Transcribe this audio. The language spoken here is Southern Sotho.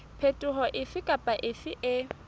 phetoho efe kapa efe e